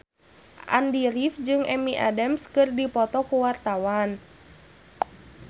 Andy rif jeung Amy Adams keur dipoto ku wartawan